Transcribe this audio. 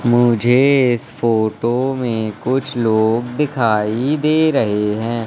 मुझे इस फोटो में कुछ लोग दिखाई दे रहे हैं।